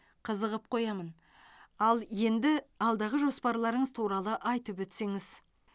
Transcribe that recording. қызығып қоямын ал енді алдағы жоспарларыңыз туралы айтып өтсеңіз